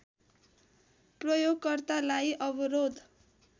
प्रयोगकर्तालाई अवरोध